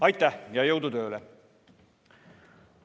Aitäh ja jõudu tööle!